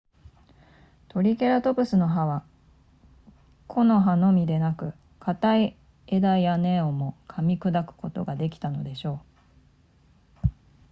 トリケラトプスの歯は木の葉のみでなく硬い枝や根をも噛み砕くことができたのでしょう